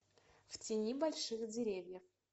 в тени больших деревьев